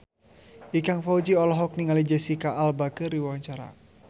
Ikang Fawzi olohok ningali Jesicca Alba keur diwawancara